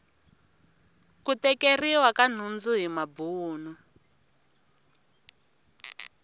ku tekeriwa ka nhundzu hi mabuni